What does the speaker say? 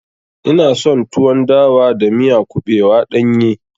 Ina son tuwon dawa da miya kuɓewa ɗanye.